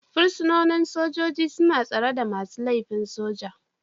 Fursunonin sojoji suna tsare da masu laifin soja